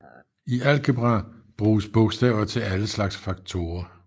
I algebra bruges bogstaver til alle slags faktorer